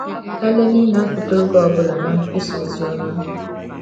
Eleni na-apụta oge ọbụla na nkwusa oziọma